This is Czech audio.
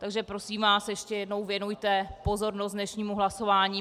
Takže, prosím vás ještě jednou, věnujte pozornost dnešnímu hlasování.